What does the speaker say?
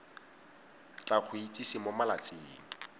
tla go itsise mo malatsing